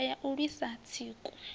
nndwa ya u lwisa tsiku